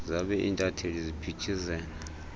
zabe intatheli ziphithizela